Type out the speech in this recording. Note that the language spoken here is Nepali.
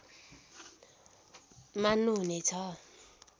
मान्नु हुने छ